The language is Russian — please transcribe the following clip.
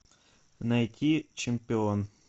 найти чемпион